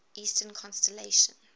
eastern constellations